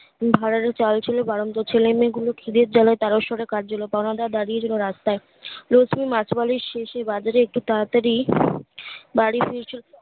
ভাঁড়ারে চাল ছিল বাড়ন্ত ছেলে মেয়ে গুলো খিদের জ্বালায় তারস্বরে কাঁদছিল বারান্দায় দাড়িয়েছিলো রাস্তায় মাছওয়ালীর শেষ এ বাজারে একটু তাড়াতাড়ি বাড়ি ফিরছিল